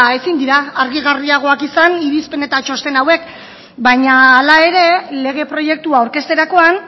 ezin dira argigarriagoak izan irizpen eta txosten hauek baina hala ere lege proiektua aurkezterakoan